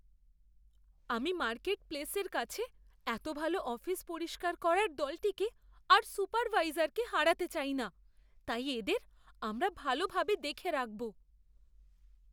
আমি মার্কেটপ্লেসের কাছে এতো ভাল অফিস পরিষ্কার করার দলটিকে আর সুপারভাইজারকে হারাতে চাই না। তাই এদের আমরা ভালোভাবে দেখে রাখবো।